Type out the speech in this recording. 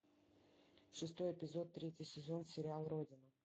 шестой эпизод третий сезон сериал родина